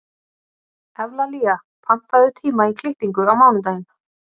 Evlalía, pantaðu tíma í klippingu á mánudaginn.